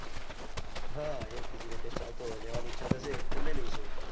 હ એ વખતે જે latest ચાલતો હોય લેવાની ઈચ્છા થશે તો લઇ લઈશુ